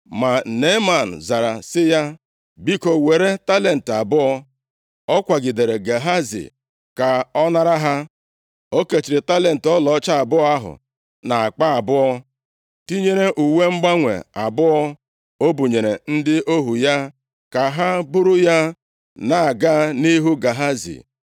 Ma Neeman zara sị ya, “Biko, were talenti abụọ.” Ọ kwagidere Gehazi ka ọ nara ha. O kechiri talenti ọlaọcha abụọ ahụ nʼakpa abụọ, tinyere uwe mgbanwe abụọ. O bunyere ndị ohu ya ka ha buru ya na-aga nʼihu Gehazi.